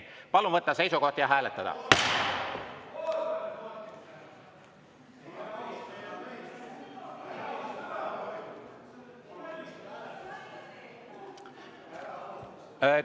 Palun võtta seisukoht ja hääletada!